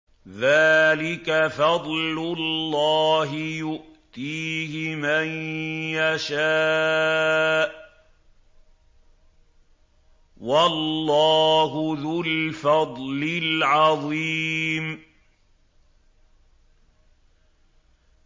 ذَٰلِكَ فَضْلُ اللَّهِ يُؤْتِيهِ مَن يَشَاءُ ۚ وَاللَّهُ ذُو الْفَضْلِ الْعَظِيمِ